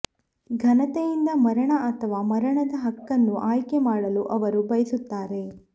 ಘನತೆಯಿಂದ ಮರಣ ಅಥವಾ ಮರಣದ ಹಕ್ಕನ್ನು ಆಯ್ಕೆ ಮಾಡಲು ಅವರು ಬಯಸುತ್ತಾರೆ